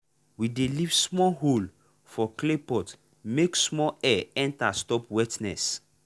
we dey leave small hole for clay pot make small air enter stop wetness.